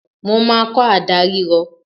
Mo máa kọ́ àdá rírọ